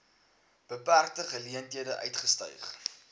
beperkte geleenthede uitgestyg